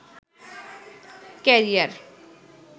career